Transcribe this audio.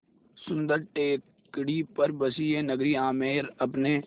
सुन्दर टेकड़ी पर बसी यह नगरी आमेर अपने